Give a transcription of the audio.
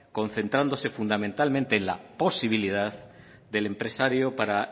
concentrándose fundamentalmente en la posibilidad del empresario para